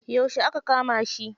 Yauce aka kama shi?